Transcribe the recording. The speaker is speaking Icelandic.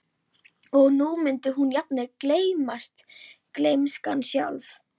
Og nú mundi jafnvel hún gleymast, gleymskan sjálf.